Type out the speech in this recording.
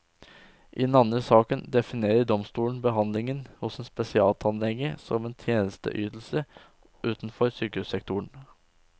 I den andre saken definerer domstolen behandlingen hos en spesialtannlege som en tjenesteydelse utenfor sykehussektoren.